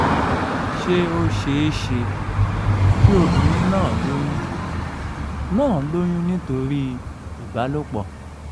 ṣé ó ṣeé ṣe kí obìnrin náà lóyún náà lóyún nítorí ìbálòpọ̀?